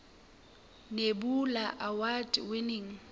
nebula award winning